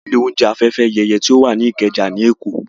A lọ sí ilé oúnjẹ Afẹ́fẹ́yẹyẹ tó wà ní Ìkẹjà ní Èkó